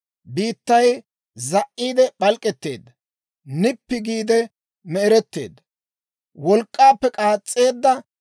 Biittay za"iide p'alk'k'etteedda; nippi giide me'eretteedda; wolk'k'aappe k'aas's'eedda.